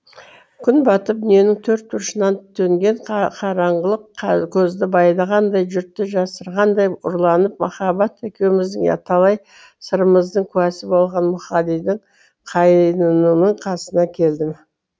күн батып дүниенің төрт бұрышынан төнген қараңғылық көзді байлағанда жұрттан жасырынғандай ұрланып махаббат екеуміздің талай сырымыздың куәсі болған мұқағалидың қайнынының қасына келдім